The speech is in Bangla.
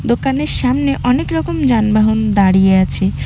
দোকানের সামনে অনেকরকম যানবাহন দাঁড়িয়ে আছে।